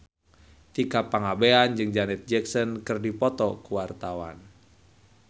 Tika Pangabean jeung Janet Jackson keur dipoto ku wartawan